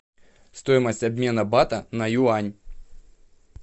стоимость обмена бата на юань